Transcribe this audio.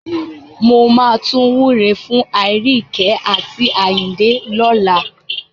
Mo máa tún wúre fún Aríyìíkẹ́ àti Àyìndé lọ́la.